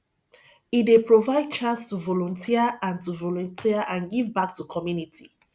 e dey provide chance to volunteer and to volunteer and give back to community